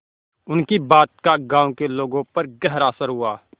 उनकी बात का गांव के लोगों पर गहरा असर हुआ